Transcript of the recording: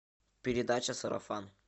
передача сарафан